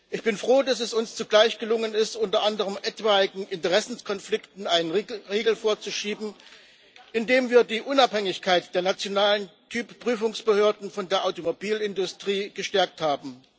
Ich bin froh, dass es uns zugleich gelungen ist, unter anderem etwaigen Interessenkonflikten einen Riegel vorzuschieben, indem wir die Unabhängigkeit der nationalen Typgenehmigungsbehörden von der Automobilindustrie gestärkt haben.